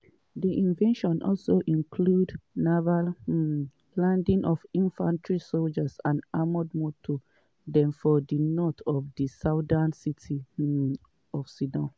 di invasion also include naval um landing of infantry sojas and armoured moto dem for di north of di southern city um of sidon.